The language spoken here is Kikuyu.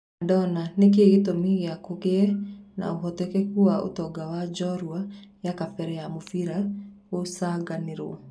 Madona: Nĩ kĩĩ gĩtũmi kĩa kũgĩe na ũhotekeku wa ũtonga wa njorua ya kabere ya mũbira kũgucanĩrio.